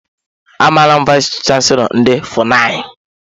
Amara m vayis chansilọ ndị FUNAI.